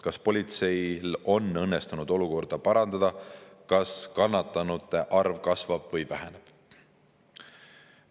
Kas politseil on õnnestunud olukorda parandada, kas kannatanute arv kasvab või väheneb?